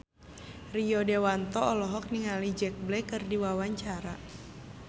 Rio Dewanto olohok ningali Jack Black keur diwawancara